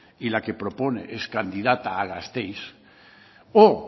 y la que propone es candidata a gasteiz o